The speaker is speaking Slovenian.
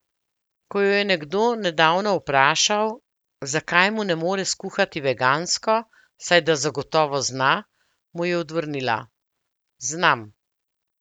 Ko jo je nekdo nedavno vprašal, zakaj mu ne more skuhati vegansko, saj da zagotovo zna, mu je odvrnila: "Znam.